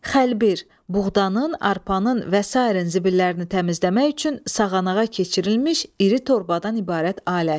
Xəlbir, buğdanın, arpanın və sairinin zibillərini təmizləmək üçün sağanağa keçirilmiş iri torbadan ibarət alət.